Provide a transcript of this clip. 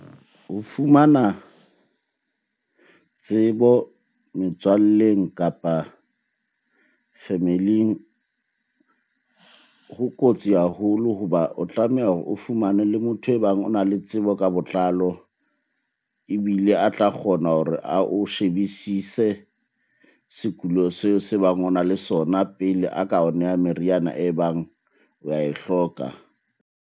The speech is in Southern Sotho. Ho fumana tsebo metswalleng, kapa family-ing ho kotsi haholo hoba o tlameha hore o fumane le motho e bang o na le tsebo ka botlalo. Ebile a tla kgona hore ao shebisise sekulo seo se bang o na le sona pele a ka o neha meriana e bang wa e hloka.